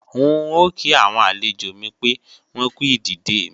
N ò kí àwọn àlejò mi pé wọ́n kú ìdìde mi